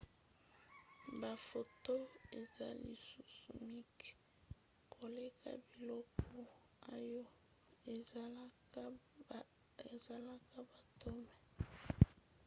baphotons eza lisusu mike koleka biloko oyo esalaka baatomes!